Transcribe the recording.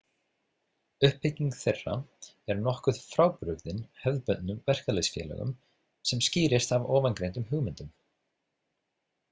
Uppbygging þeirra er nokkuð frábrugðin hefðbundnum verkalýðsfélögum, sem skýrist af ofangreindum hugmyndum.